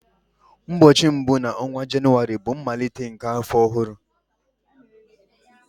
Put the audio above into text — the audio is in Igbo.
Ụbọọchi mbu na onwa Jenụwarị bụ mmalite nke afọ ọhụrụ.